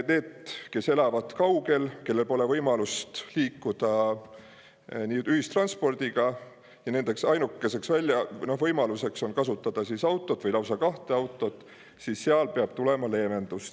Neile, kes elavad kaugel, kellel pole võimalust liikuda ühistranspordiga ja kelle ainukeseks võimaluseks on kasutada autot või lausa kahte autot, peab tulema leevendus.